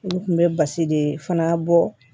N kun be basi de fana bɔ